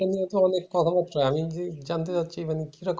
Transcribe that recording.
যেহেতু অনেক কথাবার্তা হয়। আমি জানতে চাচ্ছি মানে